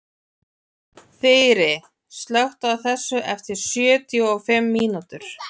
Þyri, slökktu á þessu eftir sjötíu og fimm mínútur.